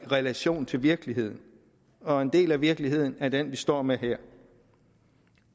relation til virkeligheden og en del af virkeligheden er den vi står med her